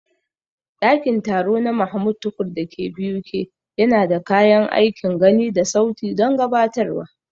Ɗakin taro na Mahmud Tukur da ke BUK yana da kayan aikin gani da sauti don gabatarwa.